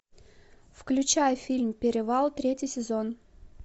включай фильм перевал третий сезон